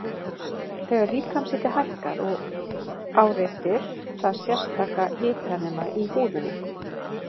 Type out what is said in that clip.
Þegar líkamshiti hækkar áreitir það sérstaka hitanema í húðinni.